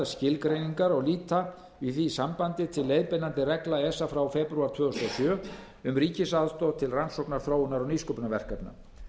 skilgreiningar og líta í því sambandi til leiðbeinandi reglna esa frá febrúar tvö þúsund og sjö um ríkisaðstoð til rannsóknar þróunar og nýsköpunarverkefna